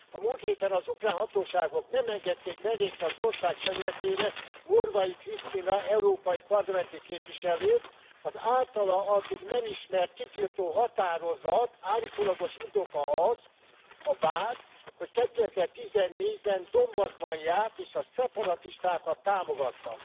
A múlt héten az ukrán hatóságok nem engedték belépni az ország területére Morvai Krisztina, európai parlamenti képviselőt, az általa addig nem ismert kitiltó határozat állítólagos indoka az, a vád, hogy 2014 ben Donbaszban járt, és a szeparatistákat támogatta.